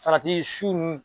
Farati su ninnu